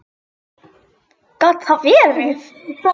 Gat það verið.?